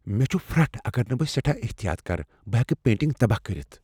مےٚ چُھ پھرٛٹھ اگر نہٕ بہٕ سیٹھاہ احتیاط کرٕ بہٕ ہیکہٕ پینٹنگ تباہ کٔرتھ ۔